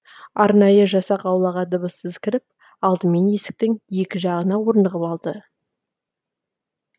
арнайы жасақ аулаға дыбыссыз кіріп алдымен есіктің екі жағына орнығып алды